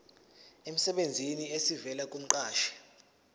emsebenzini esivela kumqashi